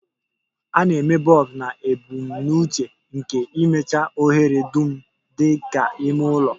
A na-eme bulbs na ebumnuche nke ịmịcha ohere dum dị ka ime ụlọ